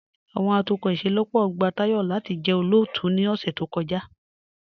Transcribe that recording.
Awọn atukọ ìṣẹlọ́pọ̀ gba Tayọ̀ lati jẹ́ olóótù ni ọ̀ṣẹ̀ tó kọja.